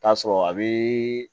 Taa sɔrɔ a bi